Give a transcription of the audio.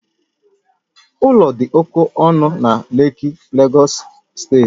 Ụlọ dị oke ọnụ na Lekki, Lagos steeti